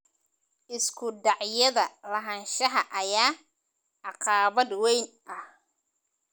Isku dhacyada lahaanshaha ayaa caqabad weyn ah.